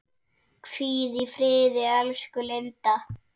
Hvíl í friði, elsku Linda.